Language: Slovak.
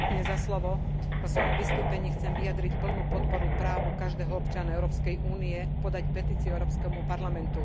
Vo svojom vystúpení chcem vyjadriť plnú podporu právu každého občana Európskej únie podať petíciu Európskemu parlamentu.